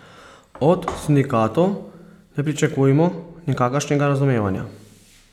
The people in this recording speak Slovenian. Od sindikatov ne pričakujmo nikakršnega razumevanja.